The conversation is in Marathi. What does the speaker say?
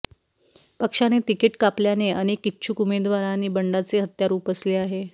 पक्षाने तिकीट कापल्याने अनेक इच्छुक उमेवदवारांनी बंडाचे हत्यार उपसले आहे